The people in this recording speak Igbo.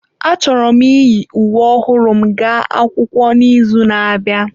Achọrọ m iyi uwe ọhụrụ m gaa akwụkwọ n'izu na-abịa.